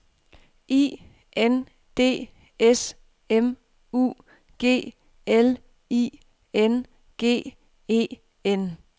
I N D S M U G L I N G E N